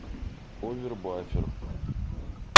овербафер